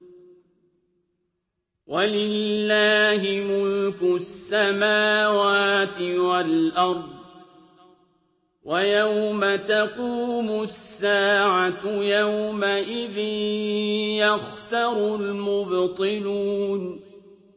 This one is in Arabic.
وَلِلَّهِ مُلْكُ السَّمَاوَاتِ وَالْأَرْضِ ۚ وَيَوْمَ تَقُومُ السَّاعَةُ يَوْمَئِذٍ يَخْسَرُ الْمُبْطِلُونَ